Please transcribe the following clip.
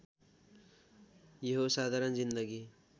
यो हो साधारण जिन्दगी